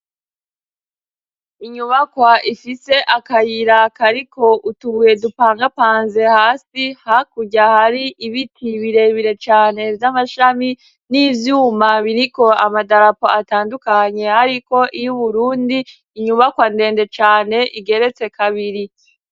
Inyubakwa ifise akayira kariko utubuye dupangapanze hasi, hakurya hari ibiti birebire cane vy'amashami, n'ivyuma biriko amadarapo atandukanye hariko iry'Uburundi, inyubakwa ndende cane igeretse kabiri.